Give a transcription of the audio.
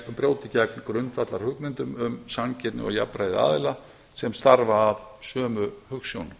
brjóti gegn grundvallarhugmyndum um samkeppni og jafnræði aðila sem starfa að sömu hugsjón